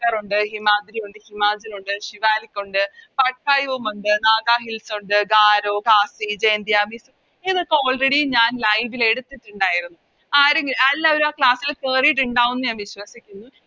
റുണ്ട് ഹിമാദ്രി ഉണ്ട് ഹിമാചൽ ഉണ്ട് ശിവാലിക് ഉണ്ട് പട്ടയു ഉണ്ട നാഗാ ഹിൽസ് ഉണ്ട് ഗാരോ ഖാസി ജയന്തിയ ഇതൊക്കെ Already ഞാൻ Live ൽ എടുത്തിട്ടുണ്ടായിരുന്നു ആരും എ എല്ലാരും ആ Class ൽ കേറീട്ടിണ്ടാവുംന്ന് ഞാൻ വിശ്വസിക്കുന്നു